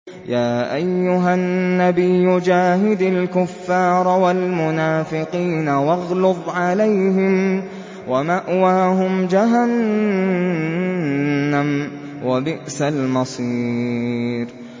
يَا أَيُّهَا النَّبِيُّ جَاهِدِ الْكُفَّارَ وَالْمُنَافِقِينَ وَاغْلُظْ عَلَيْهِمْ ۚ وَمَأْوَاهُمْ جَهَنَّمُ ۖ وَبِئْسَ الْمَصِيرُ